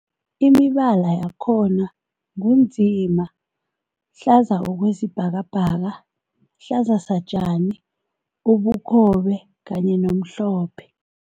Imibala yakhona ngu nzima, hlaza okwesibhakabhaka, hlaza satjani, ubukhobe kanye nomhlophe.